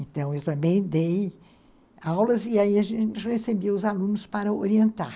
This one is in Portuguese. Então, eu também dei aulas e aí a gente recebia os alunos para orientar.